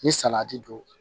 Ni salati don